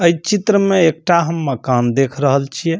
एई चित्र में एकटा हम मकान देख रहल छिए।